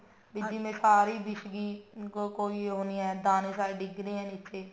ਵੀ ਜਿਵੇਂ ਸਾਰੀ ਬੀਛਗੀ ਕੋਈ ਉਹ ਨੀ ਹੈ ਦਾਨੇ ਸਾਰੇ ਡਿੱਗ ਰਹੇ ਨੇ ਨੀਚੇ